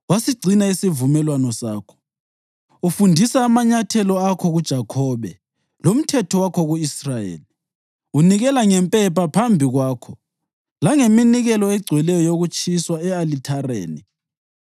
Ufundisa amanyathelo akho kuJakhobe lomthetho wakho ku-Israyeli. Unikela ngempepha phambi kwakho langeminikelo egcweleyo yokutshiswa e-alithareni.